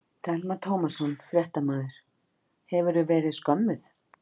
Telma Tómasson, fréttamaður: Hefurðu verið skömmuð?